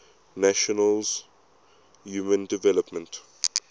nations human development